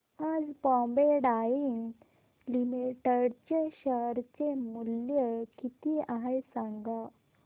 आज Bombay Dyeing Limited चे share मूल्य किती आहे सांगा